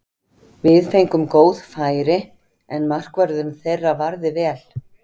Við fengum góð færi, en markvörðurinn þeirra varði vel.